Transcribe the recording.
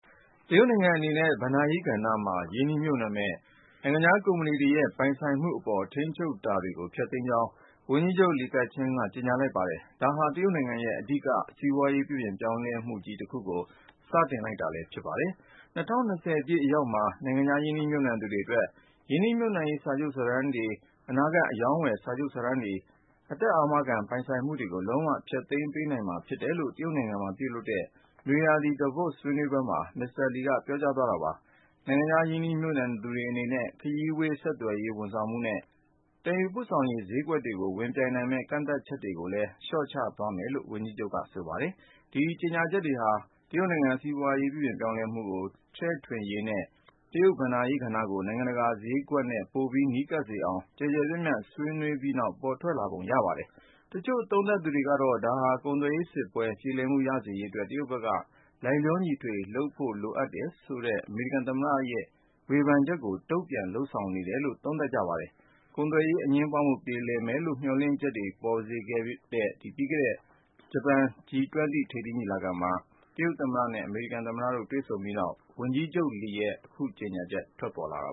တရုတ်နိုင်ငံ အနေနဲ့ ဘဏ္ဍာရေးကဏ္ဍမှာ ရင်းနှီးမြှုပ်နှံမယ့် နိုင်ငံခြားကုမ္ပဏီတွေရဲ့ ပိုင်ဆိုင်မှုအပေါ် ထိန်းချုပ်တာတွေကို ဖျက်သိမ်းကြောင်း ဝန်ကြီးချုပ် Li Keqiang က ကြေညာလိုက်ပါတယ်။ ဒါဟာ တရုတ်နိုင်ငံရဲ့ အဓိက စီးပွားရေး ပြုပြင်ပြောင်းလဲမှုကြီး တခုကို စတင်လိုက်တာလည်း ဖြစ်ပါတယ်။ ၂၀၂၀ ပြည့်အရောက်မှာ နိုင်ငံခြား ရင်းနှီးမြှုပ်နှံသူတွေအတွက် ရင်းနှီးမြှုပ်နှံရေး စာချုပ်စာတမ်းတွေ၊ အနာဂတ် အရောင်းအဝယ် စာချုပ် စာတမ်းတွေ၊ အသက်အာမခံ ပိုင်ဆိုင်မှုတွေကို လုံးဝ ဖျက်သိမ်းပေးနိုင်မှာ ဖြစ်တယ်လို့လည်း တရုတ်နိုင်ငံမှာ ပြုလုပ်တဲ့ နွေရာသီ Davos ဆွေးနွေးပွဲမှာ မစ္စတာ(လီ)က ပြောကြားသွားတာပါ။ နိုင်ငံခြား ရင်းနှီးမြှုပ်နှံသူတွေအနေနဲ့ ခရီးဝေး ဆက်သွယ်ရေး ဝန်ဆောင်မှုနဲ့ သယ်ယူပို့ဆောင်ရေး ဈေးကွက်တွေကို ဝင်ပြိုင်နိုင်မယ့် ကန့်သတ်ချက် တွေကိုလည်းပဲ လျော့ချသွားမယ်လို့ ဝန်ကြီးချုပ်က ဆိုပါတယ်။ ဒီကြေညာချက်တွေဟာ တရုတ်နိုင်ငံစီးပွားရေး ပြုပြင်ပြောင်းလဲမှုကို ချဲ့ထွင်ရေးနဲ့ တရုတ်ဘဏ္ဍာရေး ကဏ္ဍကို နိုင်ငံတကာဈေးကွက်နဲ့ ပိုပြီး နီးကပ်စေအောင် ကျယ်ကျယ်ပြန့်ပြန့် ဆွေးနွေးပြီးနောက် ပေါ်ထွက်လာပုံ ရပါတယ်။ တချို့သုံးသပ်သူတွေကတော့ ဒါဟာ ကုန်သွယ်ရေးစစ်ပွဲ ပြေလည်မှု ရစေရေးအတွက် တရုတ်ဘက်က လိုက်လျောညီထွေ လုပ်ဖို့လိုအပ်တယ်ဆိုတဲ့ အမေရိကန်သမ္မတ ဒေါ်နယ်ထရမ့်ရဲ့ ဝေဖန်ချက်ကို တုံ့ပြန် လုပ်ဆောင်နေတာလို့လည်း သုံးသပ်ကြပါတယ်။ ကုန်သွယ်ရေး အငြင်းပွားမှု ပြေလည်လိမ့်မယ်လို့ မျှော်လင့်ချက်တွေ ထွက်ပေါ်စေခဲ့တဲ့ ပြီးခဲ့တဲ့လ ဂျပန် G-20 ထိပ်သီးညီလာခံမှာ တရုတ်သမ္မတနဲ့ အမေရိကန် သမ္မတတို့ တွေ့ဆုံခဲ့ကြပြီးနောက် ဝန်ကြီးချုပ်လီရဲ့ အခုကြေညာချက် ထွက်ပေါ်လာတာ